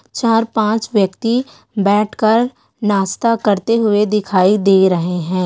चार पाँच व्यक्ति बैठ कर नास्ता करते हुए दिखाई दे रहे है।